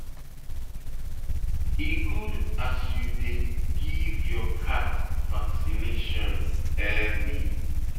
E good as you as you dey give your cat vaccination early.